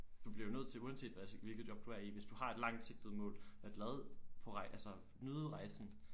Du bliver jo nødt til uanset hvad hvilket job du er i hvis du har et langsigtet mål at lade på altså nyde rejsen